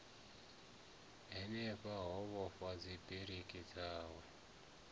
hanefha a vhofha dzibiriki dzawe